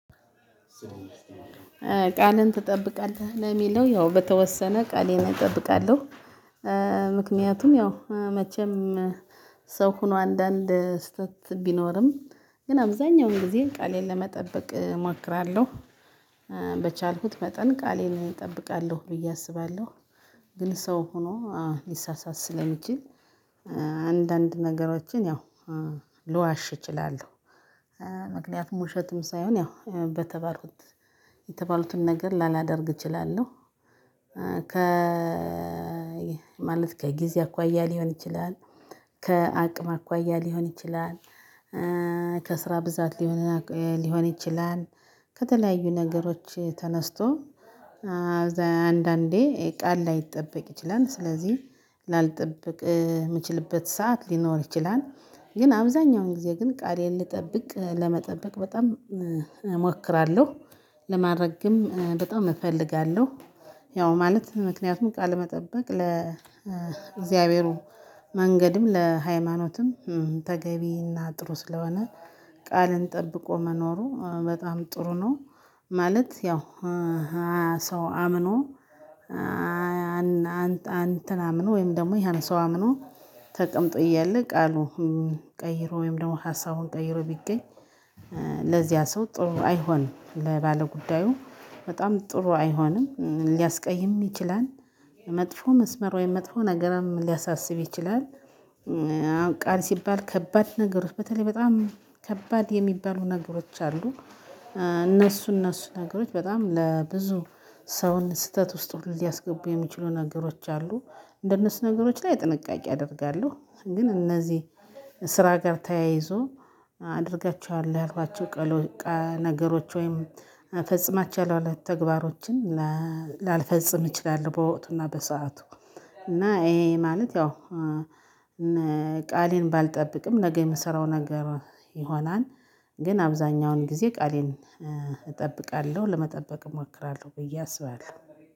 ቃልን ትጠብቃለህ ለሚለው ያው በተወሰነ ቃሌን እጠብቃለሁ። ምክንያቱም ያው መቼም ሰው ሆኖ አንዳንድ ስህተት ቢኖርም ግን አብዛኛውን ጊዜ ቃሌን ለመጠበቅ እማክራለሁ። በቻልኩት መጠን ቃሌን እጠብቃለሁ ብዬ አስባለሁ። ግን ሰው ሆኖ ሊሳሳት ስለሚችል አንዳንድ ነገሮችን ያው ልዋሽ እችላለሁ። ምክንያቱም ውሸትም ሳይሆን ያው በተባሉት የተባሉትን ነገር ላላደርግ እችላለሁ። ከ ማለት ከጊዜ አኳያ ሊሆን ይችላል ከአቅም አኳያ ሊሆን ይችላል። ከስራ ብዛት ሊሆን ሊሆን ይችላል ከተለያዩ ነገሮች ተነስቶ። አንዳንዴ ቃል ላይጠበቅ ይችላል ስለዚህ ላልጠበቅ ምችልበት ሰዓት ሊኖር ይችላል። ግን አብዛኛውን ጊዜ ግን ቃሌን ልጠብቅ ለመጠበቅ በጣም እሞክራለሁ። ለማረግም በጣም እፈልጋለሁ። ያው ማለት ምክንያቱም ቃለመጠበቅ ለእግዚአብሔሩ መንገድም ለሃይማኖትም ተገቢና ጥሩ ስለሆነ። ቃልን ጠብቆ መኖሩ በጣም ጥሩ ነው። ማለት ያው ሰው አምኖ አንተን አምኖ ወይም ደግሞ ያን ሰው አምኖ ተቀምጦ እያለ ቃሉን ቀይሮ ወይም ደግሞ ሀሳቡን ቀይሮ ቢገኝ። ለዚያ ሰው ጥሩ አይሆንም ለባለጉዳዩ በጣም ጥሩ አይሆንም ሊያስቀይም ይችላል። መጥፎ መስመር ወይም መጥፎ ነገርም ሊያሳስብ ይችላል። ቃል ሲባል ከባድ ነገሮች በተለይ በጣም ከባድ የሚባሉ ነገሮች አሉ። እነሱ እነሱ ነገሮች በጣም ለብዙ ሰውን ስህተት ውስጥ ሊያስገቡ የሚችሉ ነገሮች አሉ። እንደነሱ ነገሮች ላይ ጥንቃቄ አደርጋለሁ። ግን እነዚህ ስራ ጋር ተያይዞ አደርጋችዋለው ያልኳቸው ነገሮች ወይም እፈጽማችዋለው ያልኳቸውን ተግባሮችን። ላልፈጽም እችላልው በወቅቱ እና በሰአቱ እና ይሄ ማለት ያው ቃሌን ባልጠብቅም ነገ የምሰራው ነገር ይሆናል። ግን አብዛኛውን ጊዜ ቃሌን እጠብቃለሁ ለመጠበቅ እሞክራለሁ ብዬ አስባለሁ።